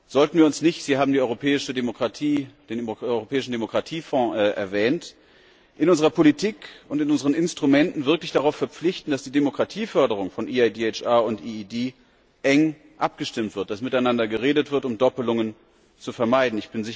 Sollten wir uns nicht Sie haben den Europäischen Demokratiefonds erwähnt in unserer Politik und in unseren Instrumenten wirklich darauf verpflichten, dass die Demokratieförderung von EIHDR und EED eng abgestimmt wird, dass miteinander geredet wird, um Doppelungen zu vermeiden?